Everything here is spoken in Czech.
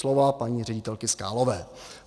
Slova paní ředitelky Skálové.